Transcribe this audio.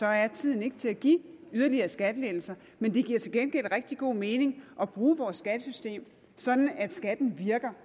er tiden ikke til at give yderligere skattelettelser men det giver til gengæld rigtig god mening at bruge vores skattesystem sådan at skatten virker